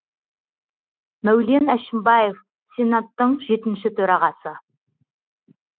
мәулен әшімбаев сенаттың жетінші төрағасы